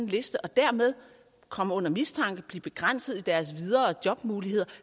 liste og dermed komme under mistanke og blive begrænset i deres videre jobmuligheder